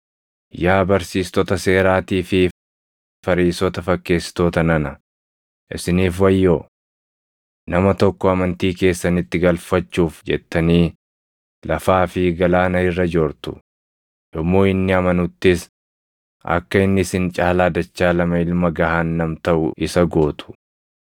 “Yaa barsiistota seeraatii fi Fariisota fakkeessitoota nana, isiniif wayyoo! Nama tokko amantii keessanitti galfachuuf jettanii lafaa fi galaana irra joortu; yommuu inni amanuttis akka inni isin caalaa dachaa lama ilma gahaannam taʼu isa gootu.